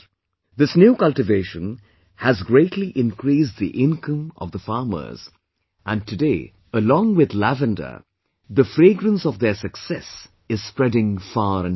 This new cultivation has greatly increased the income of the farmers, and today, along with the lavender, the fragrance of their success is spreading far and wide